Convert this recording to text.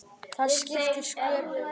Það skiptir sköpum.